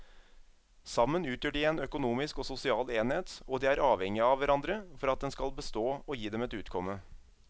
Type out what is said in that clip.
Sammen utgjør de en økonomisk og sosial enhet og de er avhengige av hverandre for at den skal bestå og gi dem et utkomme.